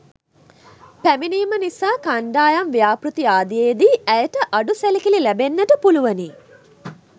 පැමිනීම නිසා කන්ඩායම් ව්‍යාපෘති ආදියේදී ඇයට අඩු සැලකිලි ලැබෙන්නට පුලුවනි